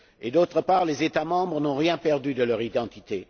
D'autre part, les États membres n'ont rien perdu de leur identité.